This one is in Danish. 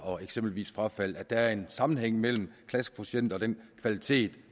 og eksempelvis frafald og at der er en sammenhæng mellem klassekvotienter og den kvalitet